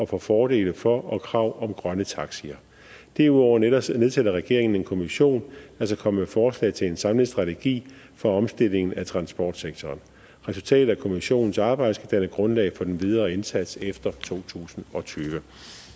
for fordele for og krav om grønne taxier derudover nedsætter nedsætter regeringen en kommission der skal komme med forslag til en samlet strategi for omstilling af transportsektoren resultatet af kommissionens arbejde skal danne grundlag for den videre indsats efter totusinde og tyvende